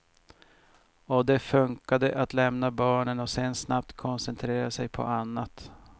Och det funkade att lämna barnen och sen snabbt koncentrera sig på annat.